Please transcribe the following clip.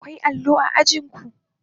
Akwai allo a ajin ku?